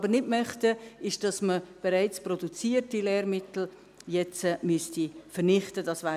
Was wir aber nicht möchten, ist, dass man bereits produzierte Lehrmittel jetzt vernichten müsste;